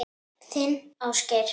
Þinn Ásgeir.